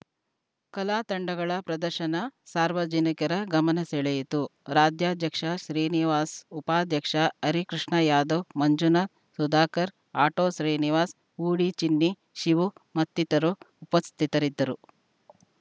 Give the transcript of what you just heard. ಕಲಾ ತಂಡಗಳ ಪ್ರದರ್ಶನ ಸಾರ್ವಜನಿಕರ ಗಮನ ಸೆಳೆಯಿತು ರಾಜ್ಯಾಧ್ಯಕ್ಷ ಶ್ರೀನಿವಾಸ್‌ ಉಪಾಧ್ಯಕ್ಷ ಹರಿಕೃಷ್ಣಯಾದವ್‌ ಮಂಜುನಾಥ್‌ ಸುಧಕರ್‌ ಅಟೋ ಶ್ರೀನಿವಾಸ್‌ ಹೂಡಿ ಚಿನ್ನಿ ಶಿವು ಮತ್ತಿತ್ತರು ಉಪಸ್ಥಿತರಿದ್ದರು